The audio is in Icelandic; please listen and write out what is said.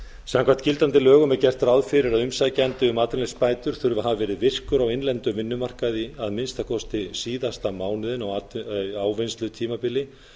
samkvæmt gildandi lögum er gert ráð fyrir að umsækjandi um atvinnuleysisbætur þurfi að hafa verið virkur á innlendum vinnumarkaði að minnsta kosti síðasta mánuðinn á ávinnslutímabili